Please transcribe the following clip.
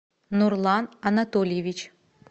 нурлан анатольевич